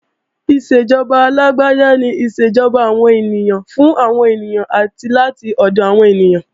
Ìṣèjọba alágbáda ni ìṣèjọba àwọn ènìyàn, fún àwọn ènìyàn, àti láti ọ̀dọ̀ àwọn ènìyàn